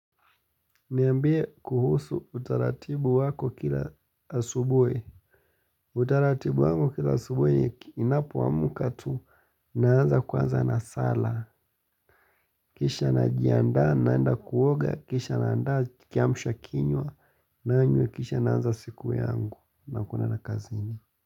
Niambie kuhusu utaratibu wako kila asubui. Utaratibu wangu kila asubui inapoamuka tu naanza kuanza na sala. Kisha najianda naenda kuoga. Kisha naanda kiamshwa kinywa naanywe kisha naanza siku yangu na kuna na kazini.